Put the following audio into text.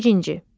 Birinci.